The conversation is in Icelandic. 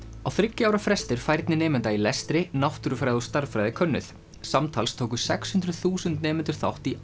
á þriggja ára fresti er færni nemenda í lestri náttúrufræði og stærðfræði könnuð samtals tóku sex hundruð þúsund nemendur þátt í